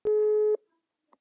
Þær ganga enn.